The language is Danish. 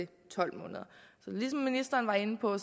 ligesom ministeren var inde på